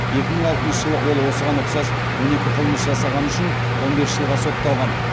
екі мың алтыншы жылы ол осыған ұқсас он екі қылмыс жасағаны үшін он бес жылға сотталған